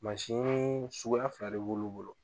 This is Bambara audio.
Mansin sugu fila de b'olu bolo